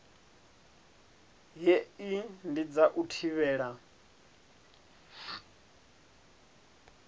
hei ndi dza u thivhela